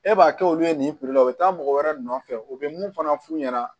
E b'a kɛ olu ye nin la u bɛ taa mɔgɔ wɛrɛ nɔfɛ u bɛ mun fana f'u ɲɛna